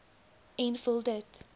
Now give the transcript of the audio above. en vul dit